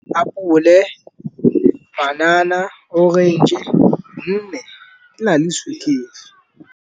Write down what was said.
Apole panana, orange gonne di na le sukiri.